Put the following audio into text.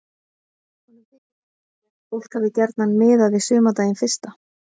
honum þykir samt líklegt að fólk hafi gjarnan miðað við sumardaginn fyrsta